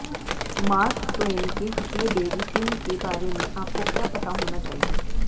mark Twain के Huckleberry Finn के बारे में आपको क्या पता होना चाहिए